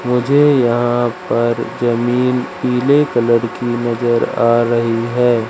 मुझे यहां पर जमीन पीले कलर की नजर आ रही है।